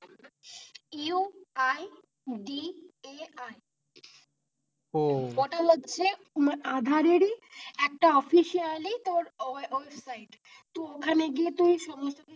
UIDAI ও ওটা হচ্ছে আধার ই একটা officially তোর ওয়েবসাইট তো ওখানে গিয়ে তুই সমস্ত কিছু,